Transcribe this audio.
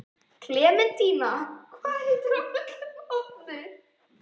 Klementína, hvað heitir þú fullu nafni?